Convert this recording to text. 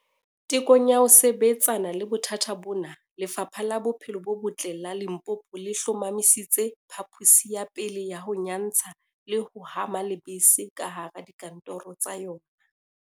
Tekong ya ho sebetsana le bothata bona, Lefapha la Bophelo bo Botle la Limpopo le hlomamisitse phaposi ya pele ya ho nyantsha le ho hama lebese kahara dika ntoro tsa yona.